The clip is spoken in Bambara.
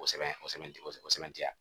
O sɛbɛn o sɛbɛnti sɛbɛn o sɛbɛn tɛ yan